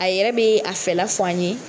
A yɛrɛ be a fɛla fɔ an ye.